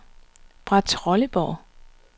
Brahetrolleborg